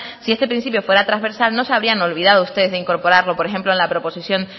si este principio fuera transversal no se habrían olvidado ustedes de incorporarlo por ejemplo a la proposición